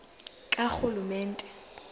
karhulumente